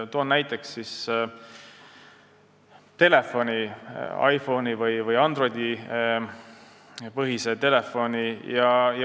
Toon näiteks telefoni, iPhone'i või Androidi-põhise.